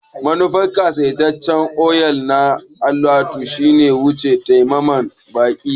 Manufar ƙasaitaccen otal na alatu shine wuce tsammanin baƙi.